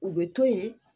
U bɛ to yen